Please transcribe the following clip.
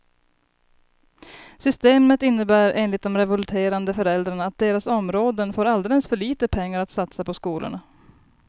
Systemet innebär enligt de revolterande föräldrarna att deras områden får alldeles för lite pengar att satsa på skolorna.